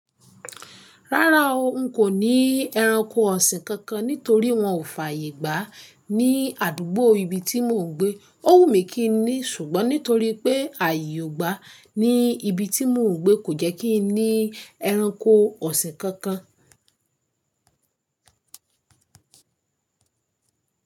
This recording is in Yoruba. Rárá o, n kò ní ẹranko ọ̀sìn kankan nítorí wọn ò fàyè gbà ní àdúgbò ibi tí mò ń gbé. Ó wù mí kí n ní, ṣùgbọ́n nítorí pé àyè ò gbà ní ibi tí mò ń gbé, kò jẹ́ kí n ní ẹranko ọ̀sìn kankan.